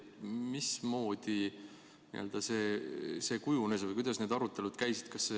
Mismoodi see kujunes või kuidas need arutelud käisid?